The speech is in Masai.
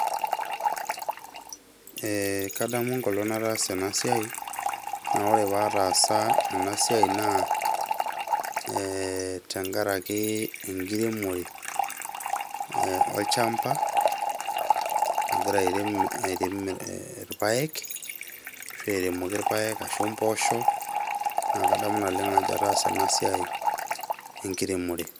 Ee kadamu enkolong nataasa ena siai naa ore paatasa ena siai naa ee tenkaraki enkiremore olchamba agira airem , airem irpaek, ashu airemoki irpaek, impoosho, naa kadamu naleng ajo ataasa ena siai enkiremore.